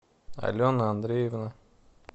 алена андреевна